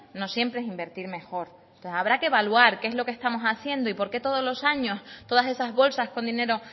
no siempre es invertir mejor entonces habrá que evaluar qué es lo que estamos haciendo y por qué todos los años todas esas bolsas con dinero